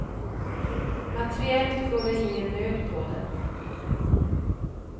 Materiellt går det ingen nöd på dem.